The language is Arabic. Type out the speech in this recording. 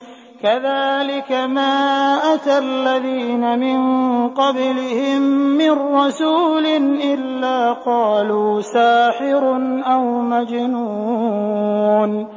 كَذَٰلِكَ مَا أَتَى الَّذِينَ مِن قَبْلِهِم مِّن رَّسُولٍ إِلَّا قَالُوا سَاحِرٌ أَوْ مَجْنُونٌ